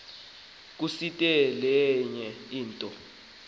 kusiti lenye into